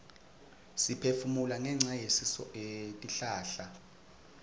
siphefumula ngenca yetihlahla